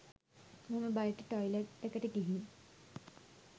මම බයට ටොයිලට් එකට ගිහින්